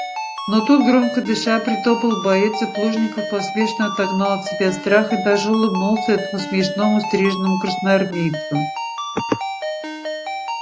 но тут громко дыша притопал боец и плужников поспешно отогнал от себя страх и даже улыбнулся этому смешному стриженому красноармейцу